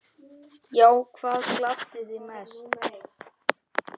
Já Hvað gladdi þig mest?